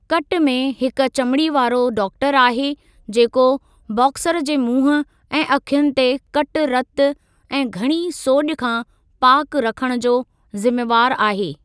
कटु में हिक चमिड़ीअ वारो डाक्टरु आहे जेको बॉक्सर जे मुंहुं ऐं अखियुनि खे कटु रतु ऐं घणी सोॼि खां पाकु रखणु जो ज़िमेवार आहे।